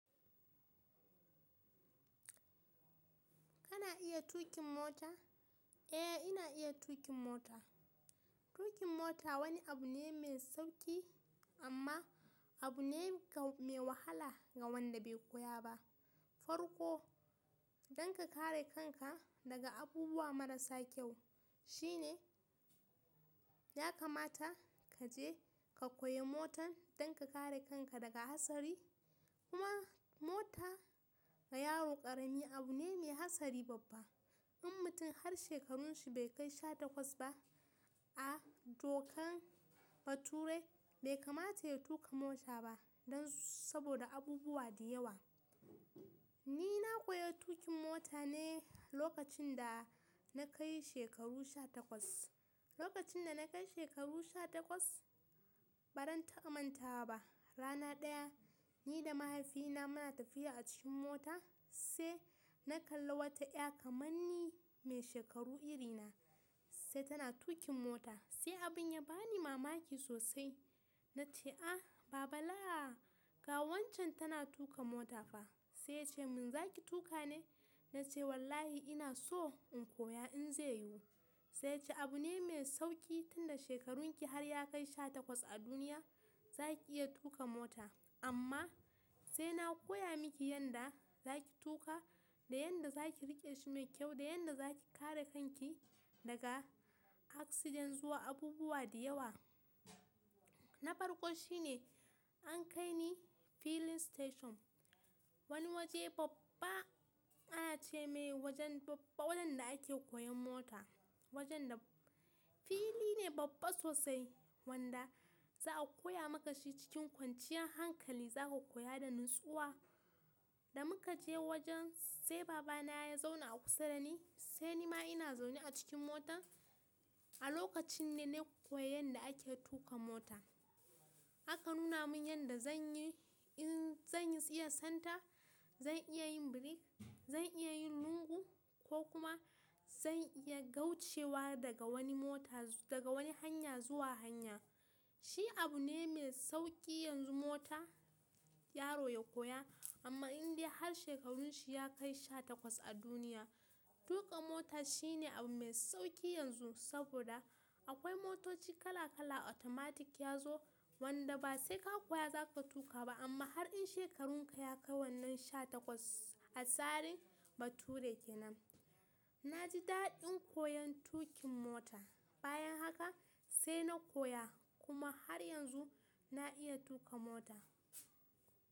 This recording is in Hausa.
Kana iya tuƙin mota? Eh ina iya tuƙin mota. Tuƙin mota wani abu ne mai sauƙi amma abu ne mai wahala ga wanda bai koya ba. Farko don ka kare kanka daga abubuwa marasa kyau shine ya kamata ka je ka koya mota don ka kare kanka daga hatsari. Kuma mota ga yaro ƙarami abu ne mai hatsari babba. In mutum har shekarun shi bai kai sha takwas ba a dokan bature bai kamata ya tuƙa mota ba don saboda abubuwa da yawa. Ni na koya tuƙin mota ne lokacin da na kai shekaru sha takwas. Lokacin da na kai shekaru sha takwas, baran taba mantawa ba. Rana daya ni da mahaifina muna tafiya a cikin mota sai na kalla wata ya kamar ni mai shekaru iri na sai tana tuƙin mota. Sai abin ya bani mamaki sosai. Na ce "ah baba laa ga waccan tana tuƙa mota fa". Sai ya ce "mun za ki tuƙa ne?" Na ce "wallahi ina so in koya in zai yiwu". Sai ya ce "abu ne mai sauƙi tunda shekarun ki har ya kai sha takwas a duniya za ki iya tuƙa mota amma sai na koya miki yanda za ki tuƙa da yanda za ki riƙe shi mai kyau da yanda za ki kare kanki daga accident zuwa abubuwa da yawa". Na farko shi ne an kai ni filling station wani waje babba ana ce mai wajen babba wadanda ake koyan mota. Wajen da filli ne babba sosai wanda za'a koya maka shi cikin kwanciyar hankali za ka koya da natsuwa. Da muka je wajen sai baba na ya zauna a kusa da ni sai ni ma ina zaune a cikin mota. A lokacin ne na koyi yanda ake tuƙa mota. Aka nuna mun yanda zanyi in zan iya santa, zan iya yin birik, zan iya yin lungu ko kuma zan iya gaucewa daga wani mota daga wani hanya zuwa hanya. Shi abu ne mai sauƙi yanzu mota yaro ya koya amma indai har shekarun shi ya kai sha takwas a duniya. Tuƙa mota shine abu mai sauƙi yanzu saboda akwai motoci kala kala automatic ya zo wanda ba sai ka koya za ka tuƙa ba amma har in shekarun ka ya kai wannan sha takwas a tsarin bature kenan. Na ji daɗin koyan tuƙin mota. Bayan haka sai na koya kuma har yanzu na iya tuƙa mota.